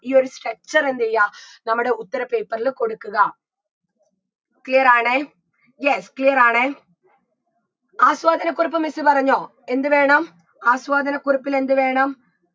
ഈ ഒരു structure എന്തെയ്യുക നമ്മുടെ ഉത്തര paper ൽ കൊടുക്കുക clear ആണേ yes clear ആണേ ആസ്വാദനക്കുറിപ്പ് miss പറഞ്ഞോ എന്ത് വേണം ആസ്വാദനക്കുറിപ്പിൽ എന്ത് വേണം